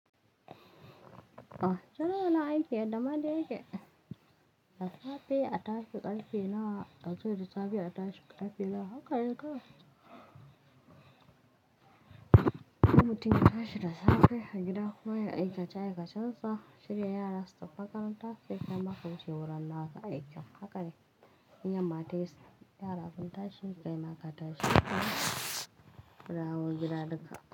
Ah, tana nan aikin yadda ma dai yake. Da safe, a tashi ƙarfe nawa, a zo da safe a tashi ƙarfe nawa haka ne kawai Mutum ya tashi da safe, a gida kuma ya yi aikace aikacensa, shirya yara su tafi makaranta, sai kaima ka wuce wurin naka aikin. Haka ne, in yamma tayi yara sun tashi, kai ma ka tashi shikenan a dawo gida duka.